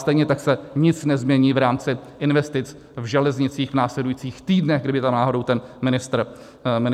Stejně tak se nic nezmění v rámci investic v železnicích v následujících týdnech, kdyby tu náhodou ten ministr nebyl.